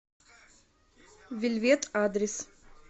вельвет адрес